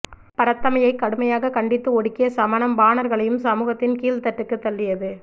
பரத்தமையை கடுமையாக கண்டித்து ஒடுக்கிய சமணம் பாணர்களையும் சமூகத்தின் கீழ்த்தட்டுக்குத் தள்ளியது